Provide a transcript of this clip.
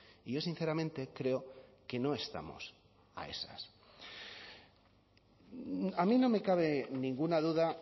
y yo sinceramente creo que no estamos a esas a mí no me cabe ninguna duda